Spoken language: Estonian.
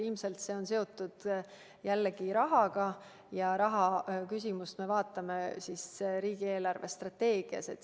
Ilmselt see on seotud jällegi rahaga ja rahaküsimusi me arutame riigi eelarvestrateegiaga seoses.